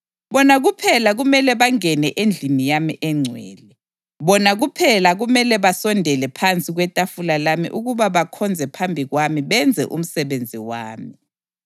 Bona kuphela kumele bangene endlini yami engcwele; bona kuphela kumele basondele phansi kwetafula lami ukuba bakhonze phambi kwami benze umsebenzi wami.